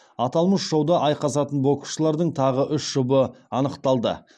аталмыш шоуда айқасатын боксшылардың тағы үш жұбы анықталды